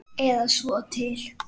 Eða svo til.